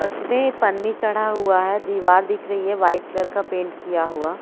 उस पे पन्नी चढ़ा हुआ है दिवार दिख रही है वाइट कलर का पेंट किया हुआ--